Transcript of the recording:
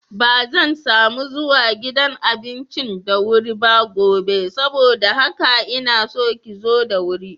Bazan samu zuwa gidan abincin da wuri ba gobe saboda haka inaso ki zo da wuri.